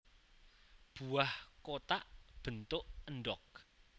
Buah kotak bentuk endhog